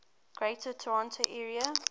greater toronto area